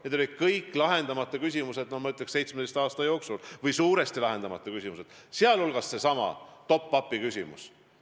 Need olid kõik suures osas lahendamata küsimused – ma ütleks, et 17 aasta jooksul –, sh seesama top-up'i küsimus.